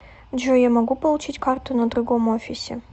джой я могу получить карту на другом офисе